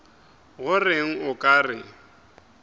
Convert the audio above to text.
go reng o ka re